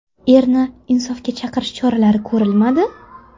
Erni insofga chaqirish choralari ko‘rilmadi?